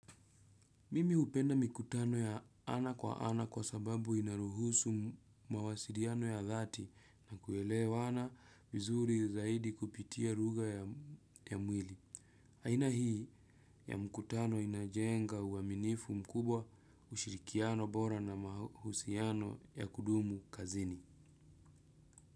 Mimi hupenda mikutano ya ana kwa ana kwa sababu inaruhusu mawasiliano ya dhati na kuelewana vizuri zaidi kupitia lugha ya mwili. Aina hii ya mkutano inajenga uaminifu mkubwa, ushirikiano bora na mahusiano ya kudumu kazini.